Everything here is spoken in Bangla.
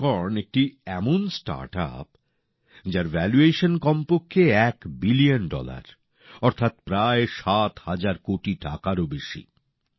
ইউনিকর্ন একটি এমন স্টার্টআপ যার ভ্যালুয়েশন কমপক্ষে এক বিলিয়ন ডলার অর্থাৎ প্রায় সাত হাজার কোটি টাকারও বেশি